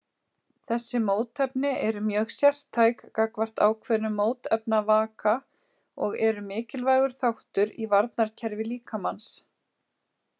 Þessi mótefni eru mjög sértæk gagnvart ákveðnum mótefnavaka og eru mikilvægur þáttur í varnarkerfi líkamans.